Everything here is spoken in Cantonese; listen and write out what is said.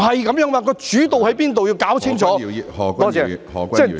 不是這樣的，要弄清楚主導在哪裏......